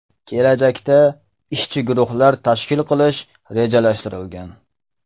Kelajakda ishchi guruhlar tashkil qilish rejalashtirilgan.